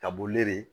Ka bɔ li